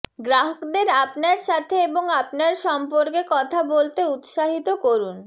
গ্রাহকদের আপনার সাথে এবং আপনার সম্পর্কে কথা বলতে উত্সাহিত করুন